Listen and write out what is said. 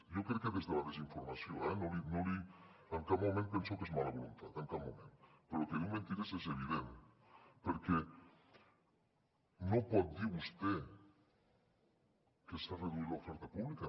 jo crec que des de la desinformació eh en cap moment penso que és mala voluntat en cap moment però que diu mentides és evident perquè no pot dir vostè que s’ha reduït l’oferta pública